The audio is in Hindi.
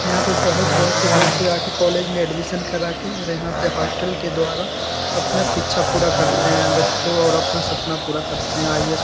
यहाँ पे बहोत बहोत से दूर से आके कॉलेज में एडमिशन कराके और यहाँ पे हॉस्टल के द्वारा अपना शिक्षा पूरा करते हैं बच्चो और अपना सपना पूरा करते हैं आई.ए.एस. --